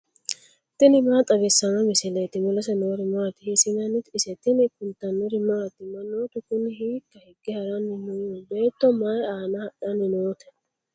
tini maa xawissanno misileeti ? mulese noori maati ? hiissinannite ise ? tini kultannori maati? Manoottu kuni hiikka hige haranni noo? Beetto may aanna hadhanni nootte?